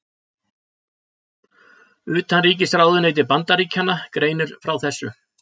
Utanríkisráðuneyti Bandaríkjanna greinir frá þessu